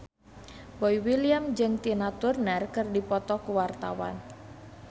Boy William jeung Tina Turner keur dipoto ku wartawan